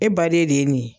E baden de ye nin ye